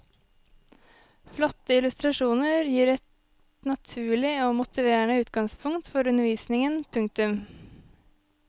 Flotte illustrasjoner gir et naturlig og motiverende utgangspunkt for undervisningen. punktum